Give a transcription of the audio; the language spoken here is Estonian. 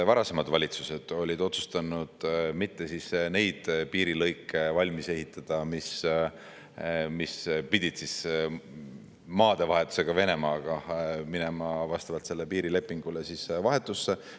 Varasemad valitsused olid otsustanud mitte valmis ehitada neid piirilõike, mis pidid maadevahetuse käigus vastavalt sellele piirilepingule Venemaaga minema vahetusse.